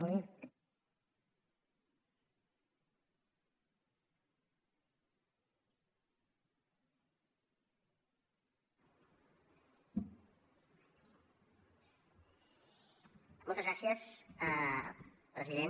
moltes gràcies president